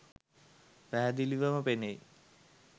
පැහැදිලිව ම පෙනෙයි.